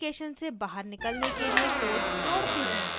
add application से बाहर निकलने के लिए code जोडते हैं